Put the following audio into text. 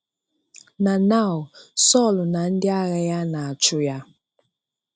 Na now Sọ̀l na ndị agha ya na-achụ ya.